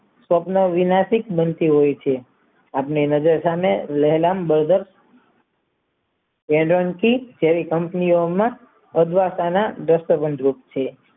સપના વિનાશીત બનતું હોય છે આપણી નજર સામે ઓલંકી તેવી કંપનીઓમાં અડવાશના છે